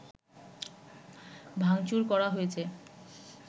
ভাংচুর করা হয়েছে